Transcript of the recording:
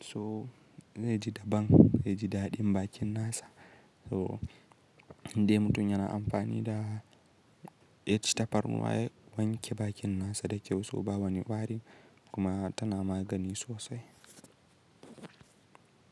so zai ji daban zai ji daɗin bakin nasa. So in dai mutum yana amfani da ya ci tafarnuwa ya wanke bakin nasa da kyau so ba wani wari kuma tana magani sosai.